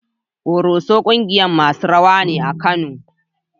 Ƙoroso ƙungiyar masu rawa ne a Kano.